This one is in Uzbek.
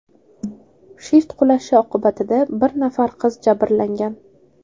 Shift qulashi oqibatida bir nafar qiz jabrlangan.